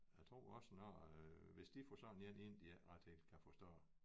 Jeg tror også når hvis de får sådan én ind de ikke ret helt kan forstå